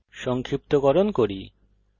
সংক্ষিপ্তকরণ করি